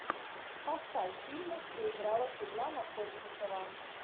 поставь фильмы где играла светлана ходченкова